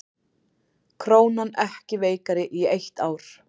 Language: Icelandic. Krónan ekki veikari í eitt ár